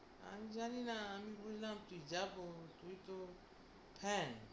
আমি জানিনা আমি বুঝলাম কী যাব তুই তো, হ্যাঁ